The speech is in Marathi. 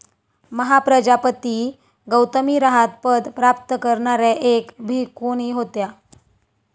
महाप्रजापती गौतमी रहात पद प्राप्त करणाऱ्या एक भिक्खुणी होत्या.